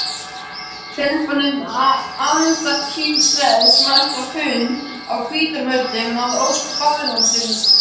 Hreppsnefnd Andakílshrepps mætti á fund á Hvítárvöllum að ósk barónsins.